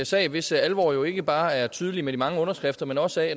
sag hvis alvor jo ikke bare er tydelig ved de mange underskrifter men også